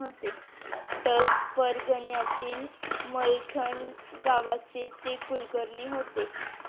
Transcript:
पाटस परगण्यातील मलठण गावचे ते कुलकर्णी होते.